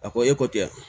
A ko e ko tɛ yan